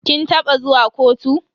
Kin taba zuwa kotu?